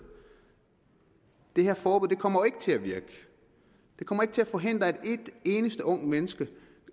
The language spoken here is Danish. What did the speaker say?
det her forbud kommer ikke til at virke det kommer ikke til at forhindre et eneste ungt menneske